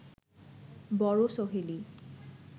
বড় সহেলি